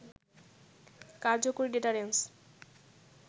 কার্যকরী ডেটারেন্স